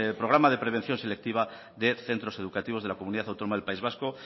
programa de prevención selectiva de centros educativos de la comunidad autónoma del país vasco